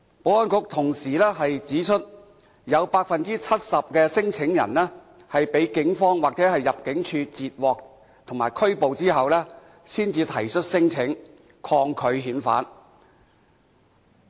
保安局同時指出，有 70% 的聲請者，是在被警方或入境處截獲或拘捕後才提出聲請，抗拒遣返。